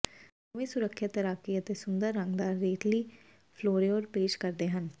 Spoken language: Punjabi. ਦੋਵੇਂ ਸੁਰੱਖਿਅਤ ਤੈਰਾਕੀ ਅਤੇ ਸੁੰਦਰ ਰੰਗਦਾਰ ਰੇਤਲੀ ਫਲੋਰੇਹੋਰ ਪੇਸ਼ ਕਰਦੇ ਹਨ